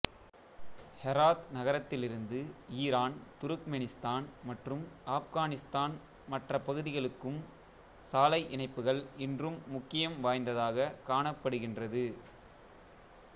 Herat நகரத்திலிருந்து Iran Turkmenistan மற்றும் ஆப்கானிஸ்தான் மற்ற பகுதிகளுக்கும் சாலை இணைப்புகள் இன்றும் முக்கியம் வாய்ந்ததாக காணபடுகின்றது